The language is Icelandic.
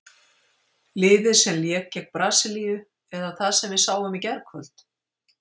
Liðið sem lék gegn Brasilíu eða það sem við sáum í gærkvöld?